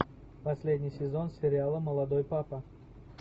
последний сезон сериала молодой папа